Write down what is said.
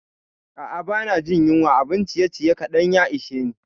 A'a, ba na jin yunwa, abun ciyeciye kaɗan ya ishe ni.